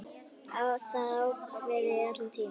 Það var ákveðið allan tímann.